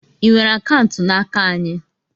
I nwere akaụntụ n'aka anyị?